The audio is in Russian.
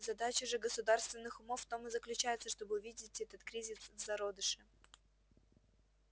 задача же государственных умов в том и заключается чтобы увидеть этот кризис в зародыше